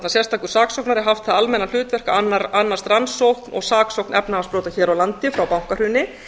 sérstakur saksóknari haft það almenna hlutverk að annast rannsókn og saksókn efnahagsbrota hér á landi frá bankahruni